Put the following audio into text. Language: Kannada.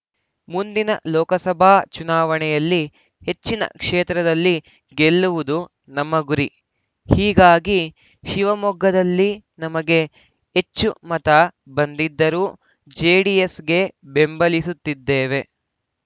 ಮುಂದಿನ ಲೋಕಸಭಾ ಚುನಾವಣೆಯಲ್ಲಿ ಹೆಚ್ಚಿನ ಕ್ಷೇತ್ರದಲ್ಲಿ ಗೆಲ್ಲುವುದು ನಮ್ಮ ಗುರಿ ಹೀಗಾಗಿ ಶಿವಮೊಗ್ಗದಲ್ಲಿ ನಮಗೆ ಹೆಚ್ಚು ಮತ ಬಂದಿದ್ದರೂ ಜೆಡಿಎಸ್‌ಗೆ ಬೆಂಬಲಿಸುತ್ತಿದ್ದೇವೆ